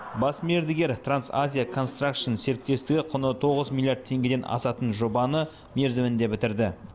бас мердігер трансазияконстракшн серіктестігі құны тоғыз миллиард теңгеден асатын жобаны мерзімінде бітірді